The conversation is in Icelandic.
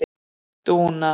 Dúna